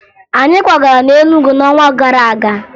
Anyị kwagara na Enugu n'ọnwa gara aga